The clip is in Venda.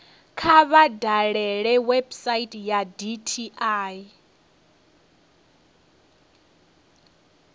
kha vha dalele website ya dti